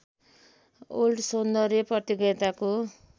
world सौन्दर्य प्रतियोगिताको